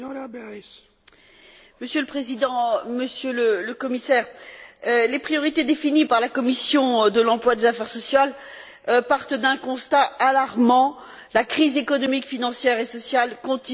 Monsieur le Président, Monsieur le Commissaire, les priorités définies par la commission de l'emploi et des affaires sociales partent d'un constat alarmant la crise économique, financière et sociale continue de sévir.